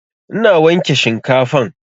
Ina wanke shinkafan